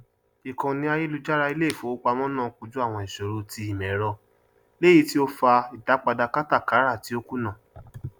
ìkànnì àyélujára ilé ìfowópamọ náà kojú àwọn ìṣòro ti ìmọẹrọ léyìí tí ó fa ìdápadà kátàkárà tí ó kùnà